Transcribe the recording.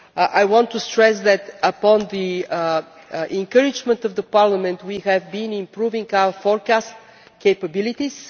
I want to stress that, with the encouragement of Parliament, we have been improving our forecast capabilities.